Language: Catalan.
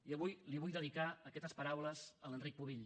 i avui li vull dedicar aquestes paraules a l’enric pubill